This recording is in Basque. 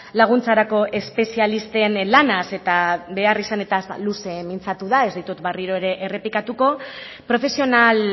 laguntzarako espezialisten lanaz eta behar izanetaz luze mintzatu da ez ditut berriro ere errepikatuko profesional